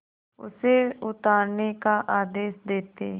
उसे उतारने का आदेश देते